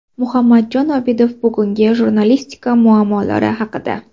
Muhammadjon Obidov bugungi jurnalistika muammolari haqida.